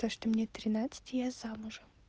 то что мне тринадцать и я замужем